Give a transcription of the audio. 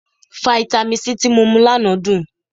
Fáítámì C tí mo mu lánàá dùn.